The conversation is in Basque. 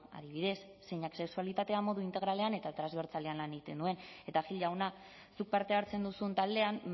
adibidez zeinak sexualitatea modu integralean eta transbertsalean lan egiten duen eta gil jauna zuk parte hartzen duzun taldean